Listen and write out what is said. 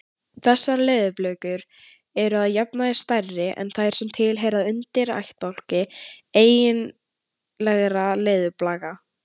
Þessar leðurblökur eru að jafnaði stærri en þær sem tilheyra undirættbálki eiginlegra leðurblaka.